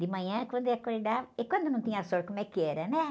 De manhã, quando ia acordar... E quando não tinha sol, como é que era, né?